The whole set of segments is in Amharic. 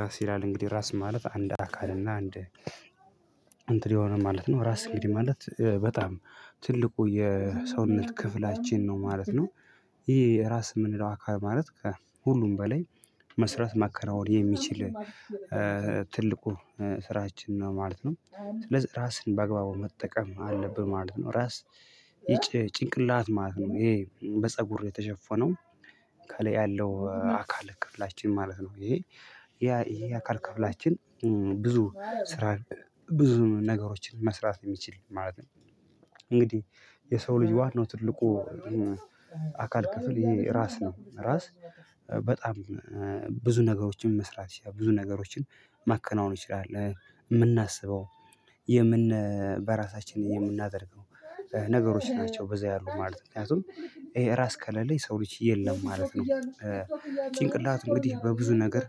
ራስ ይላል እንግዲህ ራስ ማለት አንድ አካል እና አንድ እንትን የሆነ ማለት ነው ራስ እንግዲህ ማለት በጣም ትልቁ የሰውነት ክፍላችን ነው ማለት ነው። ይሄ ራስ የምንለው አካል ማለት ከሁሉም በላይ መስራት ማከናወን የሚችል ትልቁ ስራችን ነው ማለት ነው። ስለዚህ ራስን በአግባቡ መጠቀም አለብን ማለት ነው። ራስ ጭንቅላት ማለት ነው ይሄ በፀጉር የተሸፈነው ከላይ ያለው አካል ክፍላችን ማለት ነው። ይሄ ያ ይሄ የአካል ክፍላችን ብዙ ስራን ብዙ ነገሮችን መስራት የሚችል ማለት ነው። እንግዲህ የሰው ልጅ ዋናው ትልቁ አካል ክፍል ይሄ ራስ ነው። ራስ በጣም ብዙ ነገሮችን መስራት ይችላል ብዙ ነገሮችን ማከናወን ይችላል የምናስበው በራሳችን የምናደርገው ነገሮች ናቸው በዛ ያሉት ማለት ነው። ምክንያቱም ይሄ ራስ ከለሌ የሰው ልጅ የለም ማለት ነው። ጭንቅላት እንግዲህ በብዙ ነገር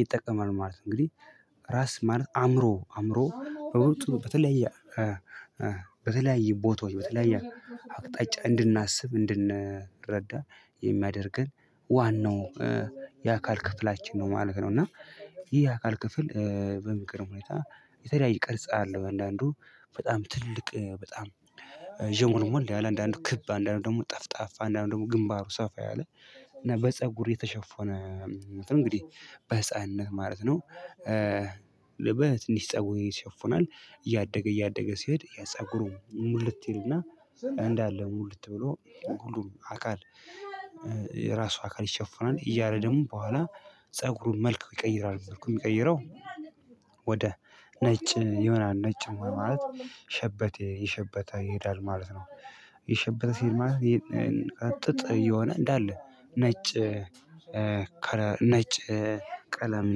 ይጠቀማል ማለት ነው። እንግዲህ ራስ ማለት አእምሮ አእምሮ በብዙ በተለያየ በተለያየ ቦታዎች በተለያየ አቅጣጫ እንድናስብ እንድንረዳ የሚያደርገን ዋናው የአካል ክፍላችን ነው ማለት ነው። እና ይህ የአካል ክፍል በሚገርም ሁኔታ የተለያየ ቅርጽ አለው። አንዳንዱ በጣም ትልቅ በጣም ዠሞልሞል ያለ አንዳንዱ ክብ አንዳንዱ ደግሞ ጠፍጣፋ አንዳንዱ ደግሞ ግንባሩ ሰፋ ያለ እና በፀጉር የተሸፎነ እንግዲህ በህፃንነት ማለት ነው። በትንሽ ፀጉር ይሸፈናል እያደገ እያደገ ሲሄድ ያ ፀጉሩ ሙልት ይልና እንዳለ ሙልት ብሎ ሁሉም አካል የራሱ አካል ይሸፈናል። እያለ ደግሞ በኋላ ፀጉሩን መልክ ይቀይራል መልኩ የሚቀይረው ወደ ነጭ ይሆናል ነጭ መሆን ማለት ሸበተ እየሸበተ ይሄዳል ማለት ነው። እየሸበተ ሲሄድ ማለት ይሄ ጥጥ እየሆነ እንዳለ ነጭ ነጭ ቀለም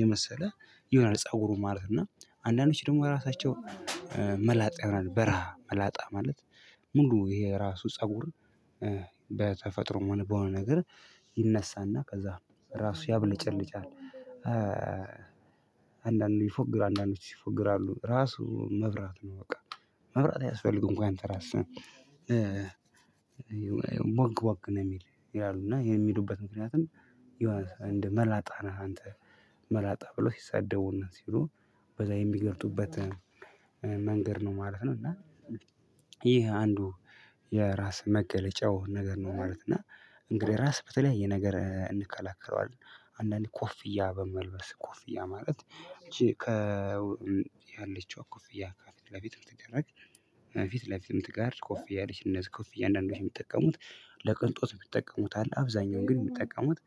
የመሰለ ይሆናል ፀጉሩ ማለት ነው። እና አንዳንዶች ደግሞ ራሳቸው መላጣ ይሆናል በረሃ መላጣ ማለት ሙሉ ይሄ ራሱ ፀጉር በተፈጥሮም ሆነ በሆነ ነገር ይነሳና ከዛ ራሱ ያብለጨልጫል። አንዳንዱ ይፎግራል አንዳንዶች ይፎግራሉ ራሱ መብራት ነው። በቃ መብራት አያስፈልግም እንኳን ትራስ ቦግ ቦግ ነው የሚል ይላሉ። እና የሚሉበት ምክንያትም የሆነ እንደ መላጣ ነህ አንተ መላጣ ብሎ ሲሳደቡና ሲሉ በዛ የሚገልጹበት መንገድ ነው ማለት ነው። እና ይህ አንዱ የራስ መገለጫው ነገር ነው። ማለት እና እንግዲህ ራስ በተለያየ ነገር እንከላከለዋለን አንዳንዴ ኮፍያ በመልበስ ኮፍያ ማለት ይቺ ከ ከላይ ያለችው ኮፍያ ከፊት ለፊት የምትደረግ ከፊት ለፊት የምትቀር ኮፍያ አለች። እነዚህ ኮፊያ አንዳንዶች የሚጠቀሙት ለቅንጦት የሚጠቀሙት አለ። አብዛኛውን ግን የሚጠቀሙት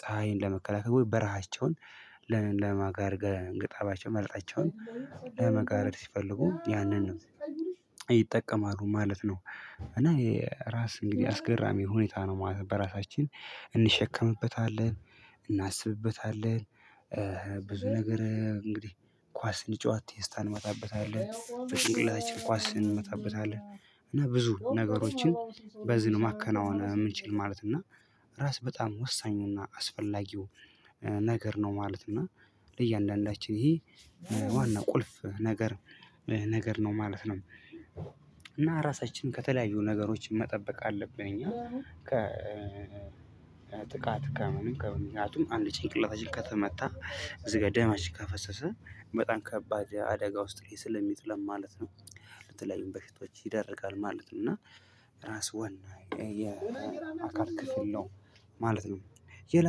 ፀሀይን ለመከላከል ወይ በረሃቸውን ግጣባቸው መላጣቸውን ለመጋረድ ሲፈልጉ ያንን ነው ይጠቀማሉ ማለት ነው። እና ራስ እንግዲህ አስገራሚ ሁኔታ ነው ማለት ነው። በራሳችን እንሸከምበታለን እናስብበታለን ብዙ ነገር እንግዲህ ኳስን ስንጫወት ቴስታ እንመታበታለን በጭንቅላታችን ኳስን እንመታበታለን። እና ብዙ ነገሮችን በዚህ ነው ማከናወን የምንችል ማለት እና ራስ በጣም ወሳኙና አስፈላጊው ነገር ነው ማለት ነው። እና ለእያንዳንዳችን ይሄ ዋናው ቁልፍ ነገር ነገር ነው ማለት ነው። እና ራሳችንን ከተለያዩ ነገሮች መጠበቅ አለብን እኛ ከ ጥቃት ከምንም ከምንም ምክንያቱም አንዴ ጭንቅላታችን ከተመታ እዚህ ጋር ደማችን ከፈሰሰ በጣም ከባድ አደጋ ውስጥ ላይ ስለሚጥለን ማለት ነው። ለተለያዩም በሽታዎች ይዳረጋል ማለት ነው። እና ራስ ዋና የአካል ክፍል ነው ማለት ነው። ሌላ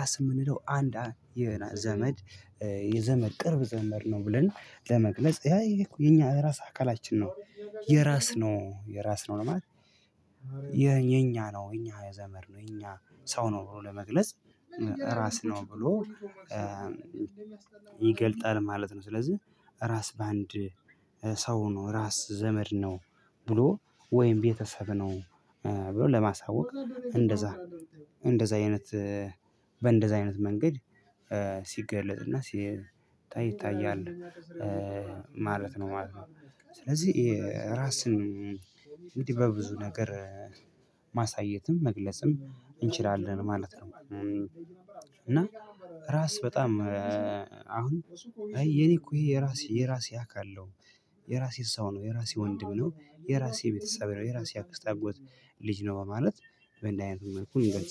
ራስ የምንለው አንድ የዘመድ የዘመድ ቅርብ ዘመድ ነው ብለን ለመግለጽ ያ ይሄኮ የኛ ራስ አካላችን ነው። የራስ ነው የራስ ነው ለማለት የኛ ነው እኛ የዘመድ ነው እኛ ሰው ነው ብሎ ለመግለጽ ራስ ነው ብሎ ይገልጻል ማለት ነው። ስለዚህ ራስ በአንድ ሰው ነው ራስ ዘመድ ነው ብሎ ወይም ቤተሰብ ነው ብሎ ለማሳወቅ እንደዛ እንደዛ አይነት በእንደዛ አይነት መንገድ ሲገለፅና ሲታይ ይታያል ማለት ነው ማለት ነው። ስለዚህ ራስን እንዲህ በብዙ ነገር ማሳየትም መግለጽም እንችላለን ማለት ነው። እና ራስ በጣም አሁን አይ የኔ እኮ ይሄ የራሴ የራሴ አካል አለው። የራሴ ሰው ነው የራሴ ወንድም ነው። የራሴ ቤተሰብ ነው የራሴ አክስት አጎት ልጅ ነው በማለት በእንደዚህ አይነት መልኩ